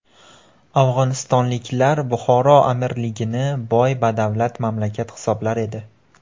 Afg‘onistonliklar Buxoro amirligini boy-badavlat mamlakat hisoblar edi.